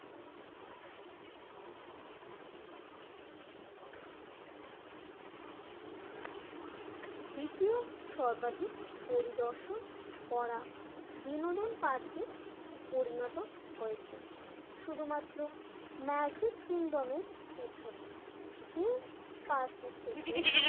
দ্বিতীয় সর্বাধিক পরিদর্শন করা বিনোদন পার্কে পরিণত হয়েছে। শুধুমাত্র ম্যাজিক কিংডম এর পিছনে যে পার্কটি থেকে